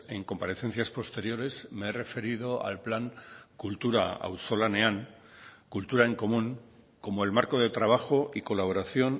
en comparecencias posteriores me he referido al plan kultura auzolanean cultura en común como el marco de trabajo y colaboración